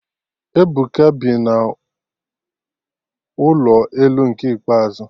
Ebuka bi n'ụlọ elu nke ikpeazụ